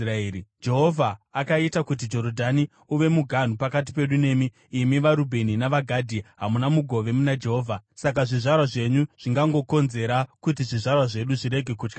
Jehovha akaita kuti Jorodhani uve muganhu pakati pedu nemi, imi vaRubheni navaGadhi! Hamuna mugove muna Jehovha.’ Saka zvizvarwa zvenyu zvingangokonzera kuti zvizvarwa zvedu zvirege kutya Jehovha.